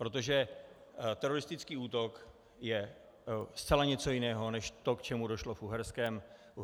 Protože teroristický útok je zcela něco jiného než to, k čemu došlo v Uherském Brodě.